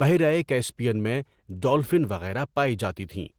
بحیرہ کیسپیئن میں ڈولفن وغیرہ پائی جاتی تھیں۔